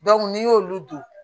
n'i y'olu don